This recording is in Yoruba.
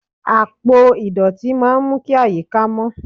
Àpò ìdọ̀tí máa ń mú kí àyíká mó.